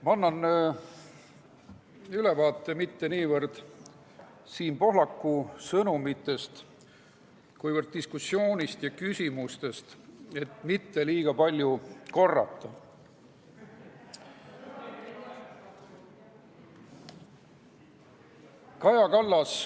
Ma annan ülevaate mitte niivõrd Siim Pohlaku sõnumitest, kuivõrd diskussioonist ja küsimustest komisjonis, et mitte liiga palju korrata.